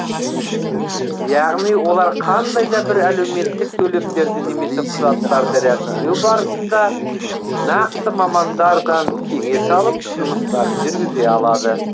яғни олар қандай да бір әлеуметтік төлемдерді немесе құжаттарды рәсімдеу барысында нақты мамандардан кеңес алып жұмыстарын жүргізе алады